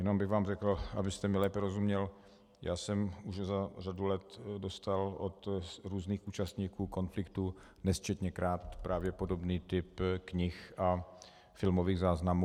Jenom bych vám řekl, abyste mi lépe rozuměl, já jsem už za řadu let dostal od různých účastníků konfliktů nesčetněkrát právě podobný typ knih a filmových záznamů.